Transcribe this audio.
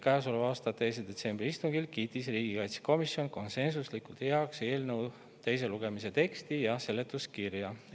Käesoleva aasta 2. detsembri istungil kiitis riigikaitsekomisjon konsensuslikult heaks eelnõu teise lugemise teksti ja seletuskirja.